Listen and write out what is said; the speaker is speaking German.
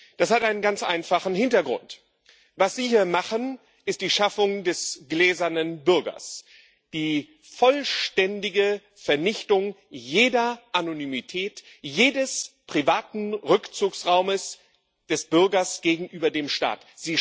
Das hat einen ganz einfachen Hintergrund Was Sie hier machen, ist die Schaffung des gläsernen Bürgers, die vollständige Vernichtung jeder Anonymität, jedes privaten Rückzugsraums des Bürgers gegenüber dem Staat.